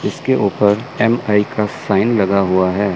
इसके ऊपर एम_आई का साइन लगा हुआ है।